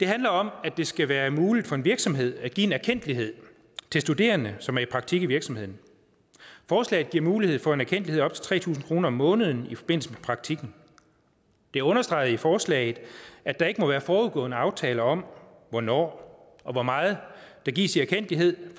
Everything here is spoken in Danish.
handler om at det skal være muligt for en virksomhed at give en erkendtlighed til studerende som er i praktik i virksomheden forslaget giver mulighed for en erkendtlighed til tre tusind kroner om måneden i forbindelse med praktikken det understreges i forslaget at der ikke må være forudgående aftale om hvornår og hvor meget der gives i erkendtlighed